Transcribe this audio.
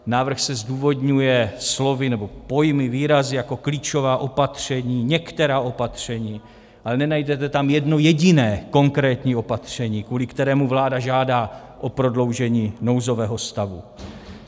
Návrh se zdůvodňuje slovy nebo pojmy, výrazy jako klíčová opatření, některá opatření, ale nenajdete tam jedno jediné konkrétní opatření, kvůli kterému vláda žádá o prodloužení nouzového stavu.